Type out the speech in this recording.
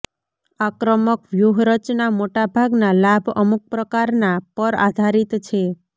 આક્રમક વ્યૂહરચના મોટા ભાગના લાભ અમુક પ્રકારના પર આધારિત છે